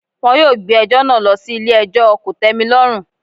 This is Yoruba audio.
Wọn yóò gbé ẹjọ́ náà lọ sí ilé ẹjọ́ kòtẹ́milọ́rùn.